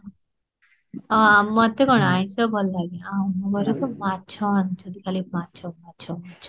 ଅ ମତେ କଁ ଆଇଁସ ଭଲ ଲାଗେ ଆଉ ମୋରୋ ତ ମାଛ ଖାଲି, ମାଛ ମାଛ ମାଛ